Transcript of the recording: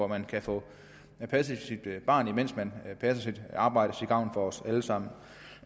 man kan få passet sit barn mens man passer sit arbejde til gavn for os alle sammen